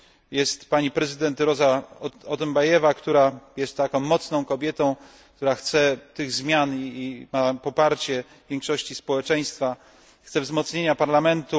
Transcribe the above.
Jest pani prezydent Roza Otunbajewa, która jest mocną kobietą, która chce tych zmian i ma poparcie większości społeczeństwa, chce wzmocnienia parlamentu.